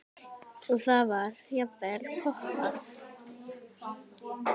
Og þá var jafnvel poppað.